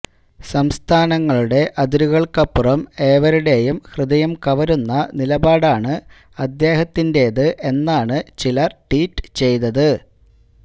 സംസ്ഥാനങ്ങളുടെ അതിരുകള്ക്കപ്പുറം ഏവരുടെയും ഹൃദയം കവരുന്ന നിലപാടാണ് അദ്ദേഹത്തിന്റേത് എന്നാണ് ചിലര് ട്വീറ്റ് ചെയ്തത്